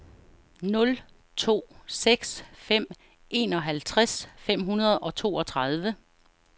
nul to seks fem enoghalvtreds fem hundrede og toogtredive